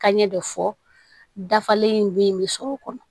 Ka ɲɛ de fɔ dafalen in bɛ sɔrɔ